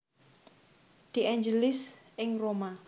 De Angelis ing Roma